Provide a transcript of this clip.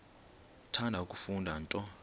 uthanda kufunda nto